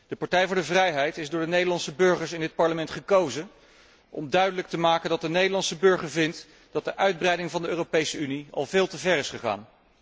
De Partij voor de Vrijheid is door de Nederlandse burgers in dit Parlement gekozen om duidelijk te maken dat de Nederlandse burger vindt dat de uitbreiding van de Europese Unie al veel te ver is gegaan.